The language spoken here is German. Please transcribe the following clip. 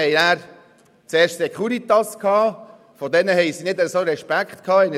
Wir hatten zuerst die Securitas, vor denen die Jugendlichen nicht viel Respekt hatten;